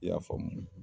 I y'a faamu